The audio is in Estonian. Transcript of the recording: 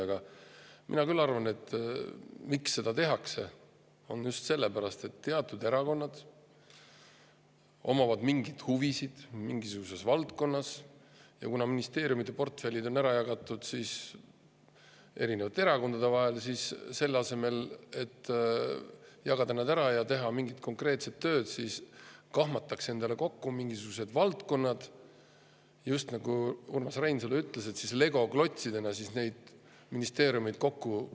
Aga mina küll arvan, et miks seda tehakse, on just see, et teatud erakondadel on oma huvid mingis valdkonnas ja kuna ministeeriumide portfellid on ära jagatud eri erakondade vahel, siis selle asemel, et jagada need ära ja teha mingit konkreetset tööd, kahmatakse endale kokku mingisugused valdkonnad ja siis tehakse nii, nagu Urmas Reinsalu ütles, klapitatakse legoklotsidena ministeeriumeid kokku.